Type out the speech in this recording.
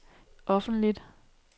offentligt